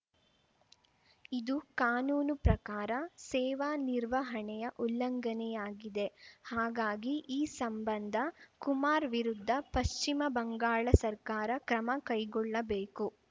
ಇದು ಕಾನೂನು ಪ್ರಕಾರ ಸೇವಾ ನಿರ್ವಹಣೆಯ ಉಲ್ಲಂಘನೆಯಾಗಿದೆ ಹಾಗಾಗಿ ಈ ಸಂಬಂಧ ಕುಮಾರ್‌ ವಿರುದ್ಧ ಪಶ್ಚಿಮ ಬಂಗಾಳ ಸರ್ಕಾರ ಕ್ರಮ ಕೈಗೊಳ್ಳಬೇಕು